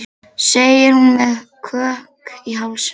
segir hún með kökk í hálsinum.